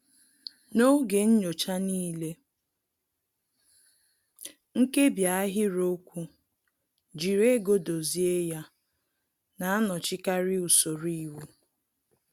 N'oge nyocha n'ile, nkebi ahịrịokwu "jiri ego dozie ya" na-anọchikarị usoro iwu